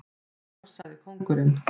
Já, sagði kóngurinn.